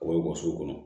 O bɛ bɔ so kɔnɔ